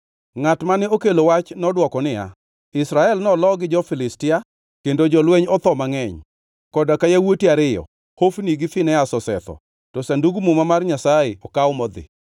Ngʼat mane okelo wach nodwoko niya, “Israel nolo gi jo-Filistia, kendo jolweny otho mangʼeny. Koda ka yawuoti ariyo, Hofni gi Finehas osetho, to Sandug Muma mar Nyasaye okaw modhi.”